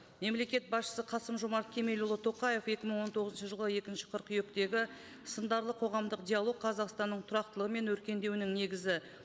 мемлекет басшысы қасым жомарт кемелұлы тоқаев екі мың он тоғызыншы жылғы екінші қыркүйектегі сындарлы қоғамдық диалог қазақстанның тұрақтылығы мен өркендеунің негізі